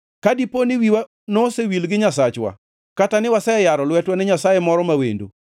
Ka dipo ni wiwa nosewil gi Nyasachwa kata ni ne waseyaro lwetwa ne nyasaye moro ma wendo,